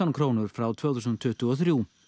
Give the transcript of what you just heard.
krónur frá tvö þúsund tuttugu og þrjú